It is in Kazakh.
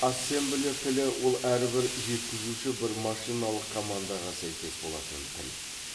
ассемблер тілі ол әрбір жеткізуші бір машиналық командаға сәйкес болатын тіл